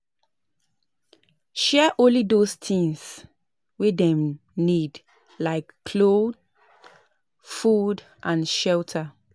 Set up committe up committe wey go bring wetin dem sabi add for your own